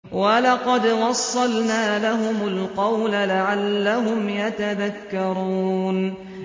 ۞ وَلَقَدْ وَصَّلْنَا لَهُمُ الْقَوْلَ لَعَلَّهُمْ يَتَذَكَّرُونَ